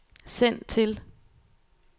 send til